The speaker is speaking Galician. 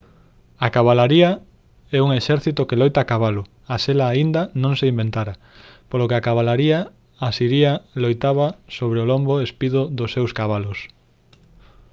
a cabalaría é un exército que loita a cabalo a sela aínda non se inventara polo que a cabalaría asiria loitaba sobre o lombo espido dos seus cabalos